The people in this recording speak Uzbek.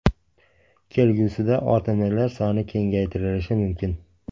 Kelgusida OTMlar soni kengaytirilishi mumkin.